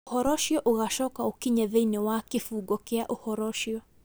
Ũhoro ũcio ũgacoka ũkinye thĩinĩ wa kĩbungo kĩa ũhoro ũcio